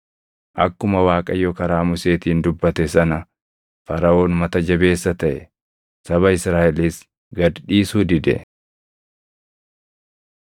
Akkuma Waaqayyo karaa Museetiin dubbate sana, Faraʼoon mata jabeessa taʼe; saba Israaʼelis gad dhiisuu dide.